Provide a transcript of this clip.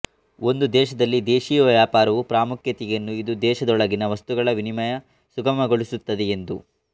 ಒಂದು ದೇಶದಲ್ಲಿ ದೇಶೀಯ ವ್ಯಾಪಾರವು ಪ್ರಾಮುಖ್ಯತೆಯನ್ನು ಇದು ದೇಶದೊಳಗಿನ ವಸ್ತುಗಳ ವಿನಿಮಯ ಸುಗಮಗೊಳಿಸುತ್ತದೆ ಎಂದು